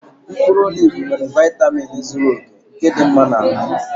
Mkpụrụ olivu nwere vaitamin zuru oke nke dị mma na ahụ